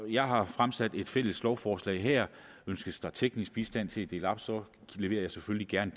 jeg har fremsat et fælles lovforslag her og ønskes der teknisk bistand til at dele det op så leverer jeg selvfølgelig gerne